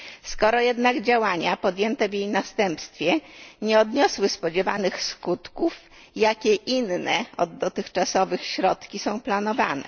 Skoro jednak działania podjęte w jej następstwie nie odniosły spodziewanych skutków, jakie inne od dotychczasowych środki są planowane?